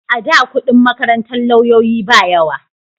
A da kudin makarantar lauyoyi ba yawa